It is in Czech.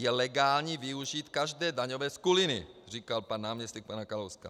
Je legální využít každé daňové skuliny, říkal pan náměstek pana Kalouska.